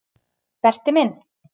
Berti minn.